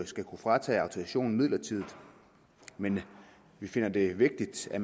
skal kunne fratage autorisationen midlertidigt men vi finder det vigtigt at